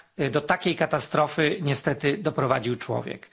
Do takiej katastrofy niestety doprowadził człowiek.